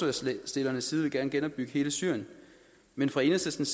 forslagsstillernes side gerne vil genopbygge hele syrien men for enhedslistens